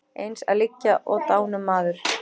Eins að liggja og dánumaður.